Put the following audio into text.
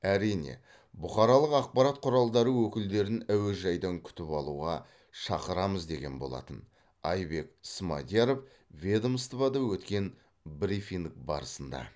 әрине бұқаралық ақпарат құралдары өкілдерін әуежайдан күтіп алуға шақырамыз деген болатын айбек смадияров ведомствода өткен брифинг барысында